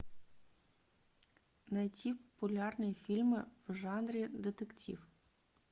найти популярные фильмы в жанре детектив